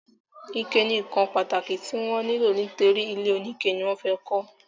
ike ni ǹkan pàtàkì tí wọ́n nílò nítorí ilé oníke ni wọ́n fẹ́ kọ́.